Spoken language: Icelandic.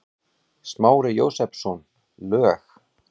Smári Jósepsson, lög